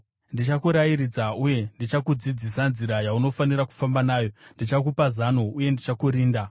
Ndichakurairidza uye ndichakudzidzisa nzira yaunofanira kufamba nayo; ndichakupa zano uye ndichakurinda.